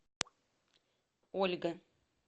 ольга